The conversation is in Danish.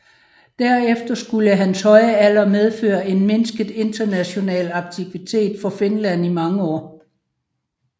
Derefter skulle hans høje alder medføre en mindsket international aktivitet for Finland i mange år